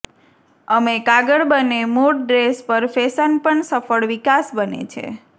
અમે કાગળ બને મૂળ ડ્રેસ પર ફેશન પણ સફળ વિકાસ બને છે